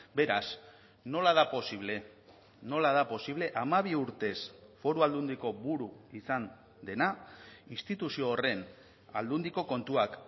beraz nola da posible nola da posible hamabi urtez foru aldundiko buru izan dena instituzio horren aldundiko kontuak